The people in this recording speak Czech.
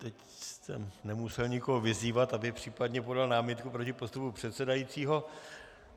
Teď jste nemusel nikoho vyzývat, aby případně podal námitku proti postupu předsedajícího.